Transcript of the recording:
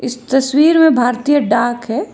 तस्वीर में भारतीय डाक है।